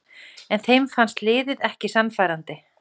En þeim fannst liðið ekki sannfærandi